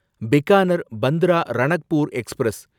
Bikaner Bandra Ranakpur express